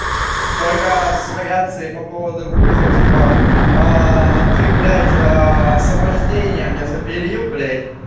только с вариацией по поводу вуза типа ты блять освобождение мне запилил блять